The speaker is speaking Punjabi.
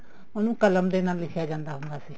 ਉਹਨੂੰ ਕਲਮ ਦੇ ਨਾਲ ਲਿਖਿਆ ਜਾਂਦਾ ਹੁੰਦਾ ਸੀ